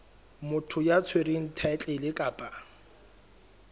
motho ya tshwereng thaetlele kapa